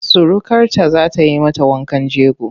Surukarta za ta yi mata wankan jego.